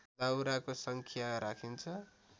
दाउराको सङ्ख्या राखिन्छ